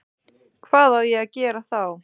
Hvað á ég að gera þá?